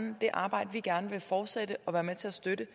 det arbejde vi gerne vil fortsætte og være med til at støtte